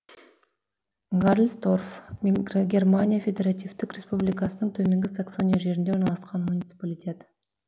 гарльсторф германия федеративтік республикасының төменгі саксония жерінде орналасқан муниципалитет